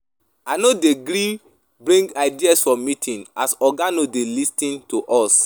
I no dey gree bring ideas for meeting as oga no dey lis ten to us.